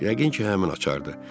Yəqin ki, həmin açardı.